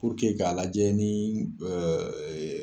k'a lajɛ ni